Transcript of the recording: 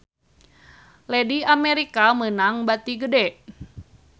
Lady America meunang bati gede